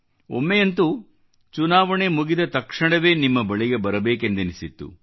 ಒಮ್ಮೆಯಂತೂ ಚುನಾವಣೆ ಮುಗಿದ ತಕ್ಷಣವೇ ನಿಮ್ಮ ಬಳಿಗೆ ಬರಬೇಕೆಂದೆನಿಸಿತ್ತು